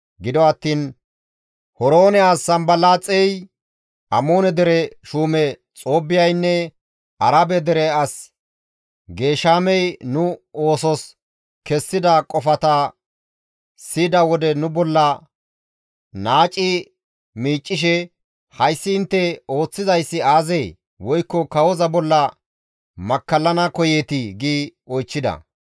Gido attiin Horoone as Sanbalaaxey, Amoone dere shuume Xoobbiyaynne Arabe dere as Geeshamey nu oosos kessida qofata siyida wode nu bolla naaci miiccishe, «Hayssi intte ooththizayssi aazee? Woykko kawoza bolla makkallana koyeetii?» gi oychchida.